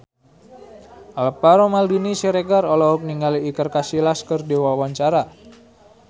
Alvaro Maldini Siregar olohok ningali Iker Casillas keur diwawancara